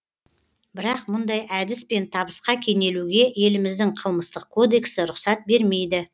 бірақ мұндай әдіспен табысқа кенелуге еліміздің қылмыстық кодексі рұқсат бермейді